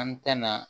An tɛn na